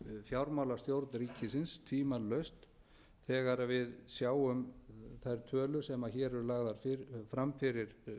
fjármálastjórn ríkisins tvímælalaust þegar við sjáum þær tölur sem hér eru lagðar fram fyrir